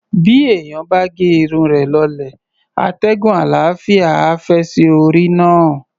Bí èèyàn bá ge irun rẹ̀ lọlẹ̀, atẹ́gùn àlàáfíà á fẹ́ sí orí náà.